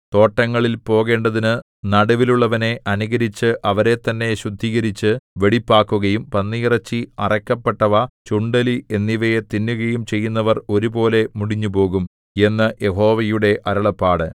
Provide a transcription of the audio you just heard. തോട്ടങ്ങളിൽ പോകേണ്ടതിനു നടുവിലുള്ളവനെ അനുകരിച്ചു അവരെത്തന്നെ ശുദ്ധീകരിച്ചു വെടിപ്പാക്കുകയും പന്നിയിറച്ചി അറയ്ക്കപ്പെട്ടവ ചുണ്ടെലി എന്നിവയെ തിന്നുകയും ചെയ്യുന്നവർ ഒരുപോലെ മുടിഞ്ഞുപോകും എന്നു യഹോവയുടെ അരുളപ്പാട്